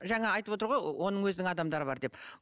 жаңа айтып отыр ғой оның өзінің адамдары бар деп